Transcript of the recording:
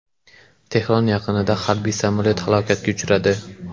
Tehron yaqinida harbiy samolyot halokatga uchradi.